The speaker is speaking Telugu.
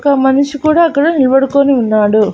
ఒక మనిషి కూడా అక్కడ నిలబడుకొని ఉన్నాడు.